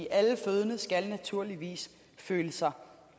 alle fødende skal naturligvis føle sig